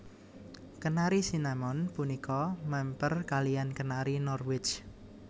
Kenari Cinnamon punika mèmper kaliyan Kenari Norwich